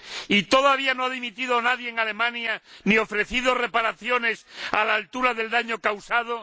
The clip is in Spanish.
Y todavía no ha dimitido nadie en Alemania, ni ofrecido reparaciones a la altura del daño causado.